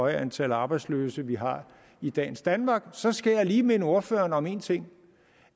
antal arbejdsløse vi har i dagens danmark så skal jeg lige minde ordføreren om en ting